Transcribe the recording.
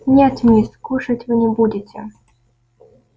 нет мисс кушать вы не будете